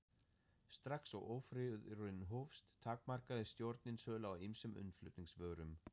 Strax og ófriðurinn hófst, takmarkaði stjórnin sölu á ýmsum innflutningsvörum.